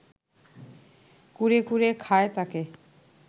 কুরে কুরে খায় তাকে